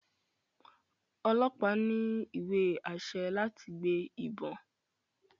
ọlọpa ní iwe-ašẹ láti gbé ìbọn